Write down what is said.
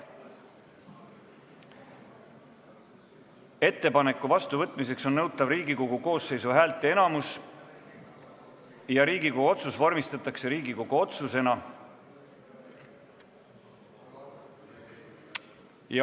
Ettepaneku vastuvõtmiseks on nõutav Riigikogu koosseisu häälteenamus ja saali otsus vormistatakse Riigikogu otsusena.